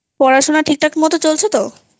পড়াশোনা ঠিকঠাক মতোxa0চলছেxa0তো?